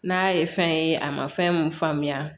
N'a ye fɛn ye a ma fɛn mun faamuya